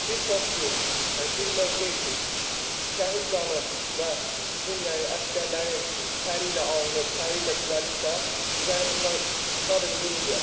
Bir post ki, bir mövqe ki, şəhid qanı və bizim yəni əsgərlərin təri ilə alınıb, təri ilə düzəlibsə, biz yəni bundan sadəcə qürur duya bilərik.